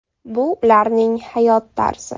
Bu ularning hayot tarzi.